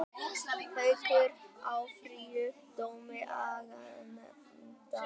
Haukar áfrýja dómi aganefndar